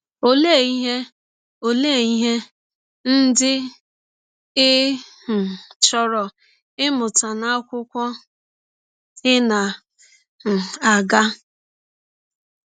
Ọlee ihe Ọlee ihe ndị ị um chọrọ ịmụta n’akwụkwọ ị na - um aga?